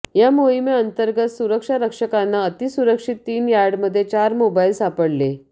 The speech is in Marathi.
या मोहिमेअंतर्गत सुरक्षारक्षकांना अतिसुरक्षित तीन यार्डामध्ये चार मोबाइल सापडले